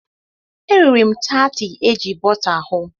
E riri m taatị eji bọta hụ.